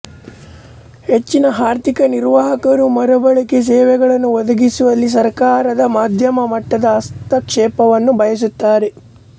ಹೆಚ್ಚಿನ ಆರ್ಥಿಕನಿರ್ವಾಹಕರು ಮರುಬಳಕೆ ಸೇವೆಗಳನ್ನು ಒದಗಿಸುವಲ್ಲಿ ಸರಕಾರದ ಮಧ್ಯಮ ಮಟ್ಟದ ಹಸ್ತಕ್ಷೇಪವನ್ನು ಬಯಸುತ್ತಾರೆ